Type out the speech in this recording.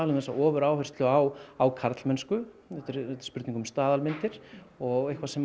þessa ofuráherslu á á karlmennsku þetta er spurning um staðalmyndir og eitthvað sem